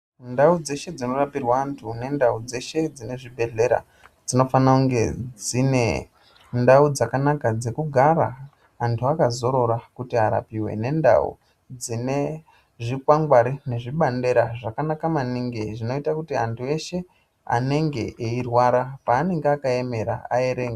Ndau dzeshe dzinorapirwa antu nendau dzeshe dzine zvibhehleya dzinofanira kunge dzine ndau dzakanaka dzekugara antu akazorora kuti arapiwe nendau dzine zvikwangwari nezvibandera zvakanaka maningi zvinoita kuti antu eshe anenge eirwara paanenge akaemera aerenge.